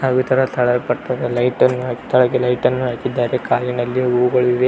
ಹಾಗು ಈ ತರ ತಳ ಕಟ್ಟಡ ಲೈಟ್ ನ್ನು ಕೆಳಗೆ ಲೈಟ್ ನ್ನು ಹಾಕಿದ್ದಾರೆ ಕಾಲಿನಲ್ಲಿ ಹೂಗಳಿವೆ.